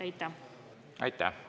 Aitäh!